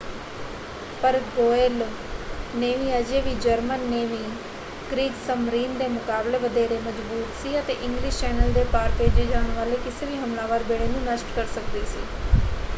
ਪਰ Royal Navy ਅਜੇ ਵੀ ਜਰਮਨ ਨੇਵੀ ਕ੍ਰੀਗਸਮਰੀਨ” ਦੇ ਮੁਕਾਬਲੇ ਵਧੇਰੇ ਮਜ਼ਬੂਤ ​​ਸੀ ਅਤੇ ਇੰਗਲਿਸ਼ ਚੈਨਲ ਦੇ ਪਾਰ ਭੇਜੇ ਜਾਣ ਵਾਲੇ ਕਿਸੇ ਵੀ ਹਮਲਾਵਰ ਬੇੜੇ ਨੂੰ ਨਸ਼ਟ ਕਰ ਸਕਦੀ ਸੀ।